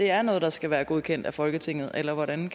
er noget der skal være godkendt af folketinget eller hvordan